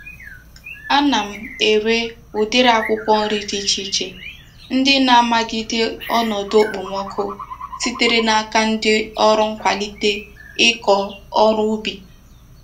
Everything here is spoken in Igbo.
Ana m ere udiri akwukwo nri di iche iche ndi na-amagide onodu okpomoku sitere n'aka ndi órú nkwalite Iko órú ubi.